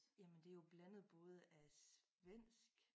Jamen det jo blandet både af svensk